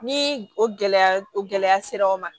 Ni o gɛlɛya o gɛlɛya sera aw ma